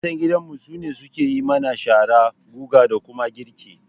Matan gidanmu su ne suke yi mana shara, guga da kuma girki